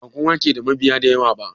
Bakowa ke da mabiya da yawa ba